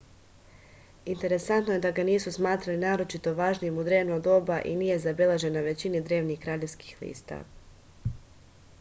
interesantno je da ga nisu smatrali naročito važnim u drevno doba i nije zabeležen na većini drevnih kraljevskih lista